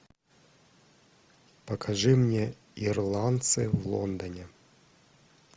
покажи мне ирландцы в лондоне